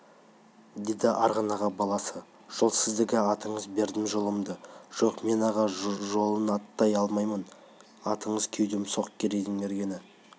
деді арғын аға баласы жол сіздікі атыңыз бердім жолымды жоқ мен аға жолын аттай алмаймын атыңыз кеудем соқ керейдің мергені